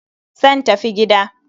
Zan tafi gida.